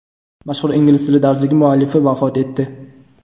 Mashhur ingliz tili darsligi muallifi vafot etdi.